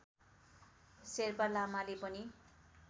शेर्पा लामाले पनि